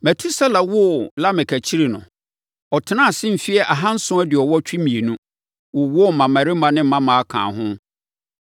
Metusela woo Lamek akyiri no, ɔtenaa ase mfeɛ ahanson aduɔwɔtwe mmienu, wowoo mmammarima ne mmammaa kaa ho.